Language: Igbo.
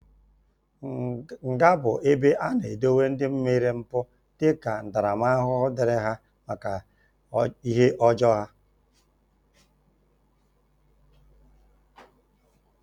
Nga bụ ebe a na-edowe ndị mere mpụ dika ntaramahụhụ dịrị ha maka ihe ọjọọ ha